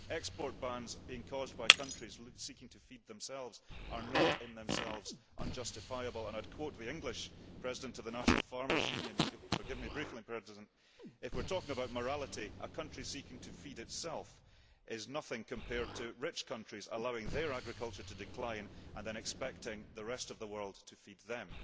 Export bans caused by countries seeking to feed themselves are not, in themselves, unjustifiable, and I would quote the English President of the National Farmers Union, if you would forgive me briefly if we are talking about morality, a country seeking to feed itself is nothing compared to rich countries allowing their agriculture to decline and then expecting the rest of the world to feed them.